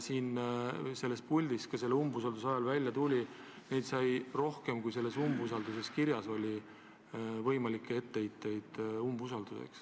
Neid puldist öeldud valesid, mis siin saalis umbusalduse avaldamise ajal välja tuli, sai rohkem, kui teati umbusaldusavalduses kirja panna.